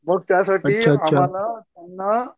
मग त्यासाठी आम्हाला त्यांना